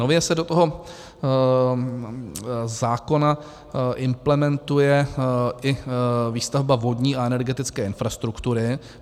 Nově se do toho zákona implementuje i výstavba vodní a energetické infrastruktury.